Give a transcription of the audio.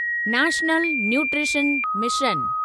national Nutrition mission